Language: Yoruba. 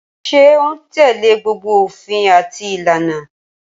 Ṣé o un tẹ́lẹ̀ gbogbo òfin àti ìlànà?